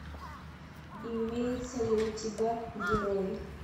имеется ли у тебя герои